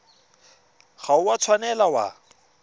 ga o a tshwanela wa